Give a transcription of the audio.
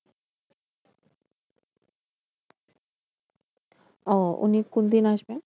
ও উনি কোনদিন আসবেন?